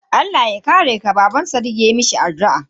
Allah ya kare ka, Baban sadiq ya mishi addu'a.